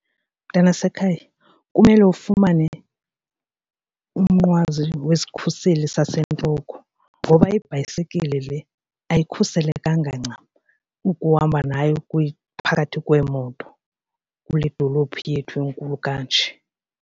Mntanasekhaya, kumele ufumane umnqwazi wesikhuseli sasentloko ngoba ibhayisekile le ayikhuselekanga ncam ukuhamba nayo phakathi kweemoto kule dolophu yethu inkulu kanje.